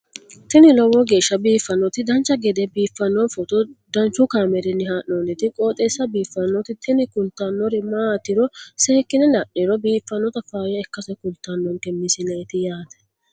tini lowo geeshsha biiffannoti dancha gede biiffanno footo danchu kaameerinni haa'noonniti qooxeessa biiffannoti tini kultannori maatiro seekkine la'niro biiffannota faayya ikkase kultannoke misileeti yaate